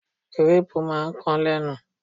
Gírápù máa ń kan lénu.